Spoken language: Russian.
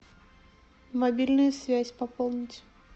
мобильная связь пополнить